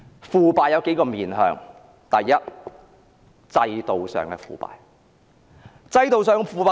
腐敗有數個方面，第一，是制度上的腐敗。